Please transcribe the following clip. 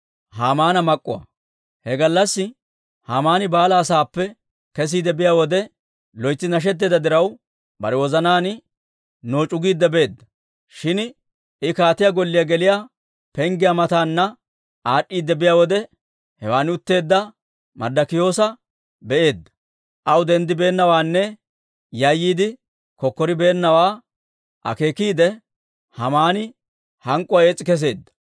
He gallassi Haamani baalaa saappe kesiide biyaa wode, loytsi nashetteedda diraw, bare wozanaan nooc'u giidde beedda. Shin I kaatiyaa golliyaa geliyaa penggiyaa mataana aad'd'iide biyaa wode, hewan utteedda Marddikiyoosa be'eedda; aw denddibeennawaanne yayyiide kokkoribeennawaa akeekiide, Haamani hank'k'uwaa ees's'i kesseedda.